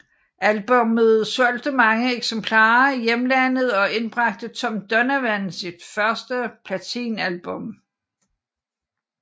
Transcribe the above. Albummet solgte mange eksemplarer i hjemlandet og indbragte Tom Donovan sit første platinalbum